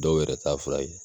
Dɔw yɛrɛ ta fura ye